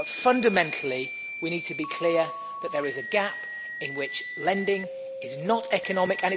but, fundamentally, we need to be clear that there is a gap in which lending is not economic.